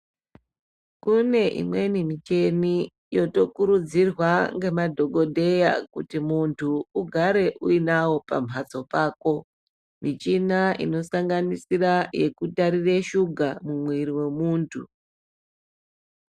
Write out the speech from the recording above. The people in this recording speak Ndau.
Kune imweni micheni yotokurudzirwa ngemadhogodheya kuti muntu ugare uinavo pamhatso pako. Mishina inosanganisira yekutarira shuga muviri vemuntu.